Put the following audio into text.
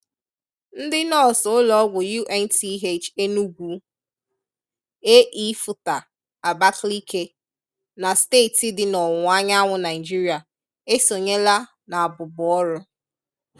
Ndị nọọsụ ụlọọgwụ UNTH Enugwu, AE-FUTHA Abakaliki na steeti dị n'ọwụwa anyanwụ Naịjirịa esonyela n'abụbu ọrụ